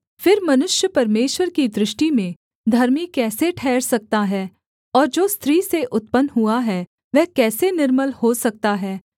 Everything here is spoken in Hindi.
फिर मनुष्य परमेश्वर की दृष्टि में धर्मी कैसे ठहर सकता है और जो स्त्री से उत्पन्न हुआ है वह कैसे निर्मल हो सकता है